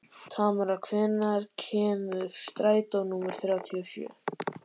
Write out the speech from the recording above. Tamara, hvenær kemur strætó númer þrjátíu og sjö?